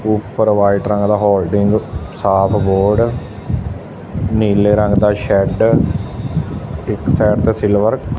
ਉਪਰ ਫਾਈਟ ਰੰਗ ਦਾ ਹੋਡਿੰਗ ਸਾਫ ਬੋਰਡ ਨੀਲੇ ਰੰਗ ਦਾ ਸ਼ੈਡ ਇੱਕ ਸਾਈਡ ਤੇ ਸਿਲਵਰ ।